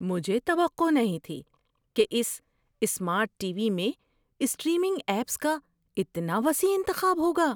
مجھے توقع نہیں تھی کہ اس سمارٹ ٹی وی میں اسٹریمنگ ایپس کا اتنا وسیع انتخاب ہوگا!